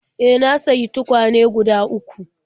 E, na sayi tukwane guda uku..